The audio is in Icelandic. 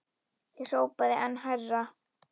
Ég hrópaði enn hærra.